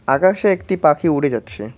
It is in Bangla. আকাশে একটি পাখি উড়ে যাচ্ছে।